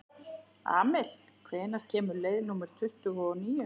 Amil, hvenær kemur leið númer tuttugu og níu?